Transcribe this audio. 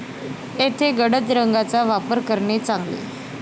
येथे गडद रंगांचा वापर करणे चांगले.